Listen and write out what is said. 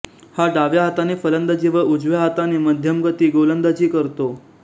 हा डाव्या हाताने फलंदाजी व उजव्या हाताने मध्यमगती गोलंदाजी करतो